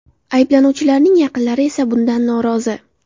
Ayblanuvchilarning yaqinlari esa bundan norozi.